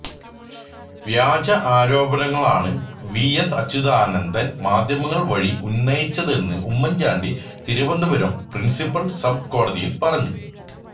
വ്യാജ ആരോപണങ്ങളാണ് V S Achuthanandan മാധ്യമങ്ങള് വഴി ഉന്നയിച്ചതെന്ന് ഉമ്മൻചാണ്ടി തിരുവനന്തപുരം പ്രിൻസിപ്പൽ സബ് കോടതിയിൽ പറഞ്ഞു